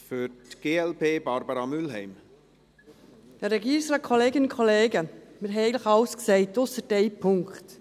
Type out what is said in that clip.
Wir haben eigentlich alles gesagt, ausser eines Punkts.